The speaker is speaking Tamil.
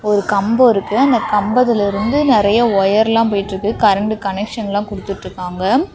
ஒரு கம்போ இருக்கு அந்த கம்பத்துலிருந்து நெறைய ஒயர் லாம் போய்ட்ருக்கு கரண்டு கனெக்ஸன்லா குடுத்துட்ருக்காங்க.